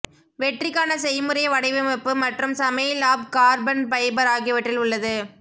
வெற்றிக்கான செய்முறை வடிவமைப்பு மற்றும் சமையல் அப் கார்பன் ஃபைபர் ஆகியவற்றில் உள்ளது